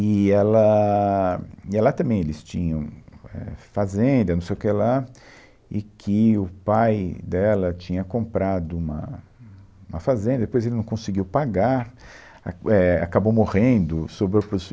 E ela, e lá também eles tinham éh fazenda, não sei o que lá, e que o pai dela tinha comprado uma uma fazenda, depois ele não conseguiu pagar, éh, acabou morrendo, sobrou para os